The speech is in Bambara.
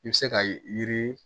I bɛ se ka yiri